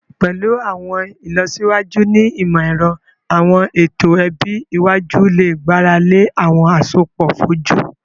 Pẹlu awọn ilọsiwaju ni imọ-ẹrọ, awọn eto ẹbi iwaju le gbarale awọn asopọ foju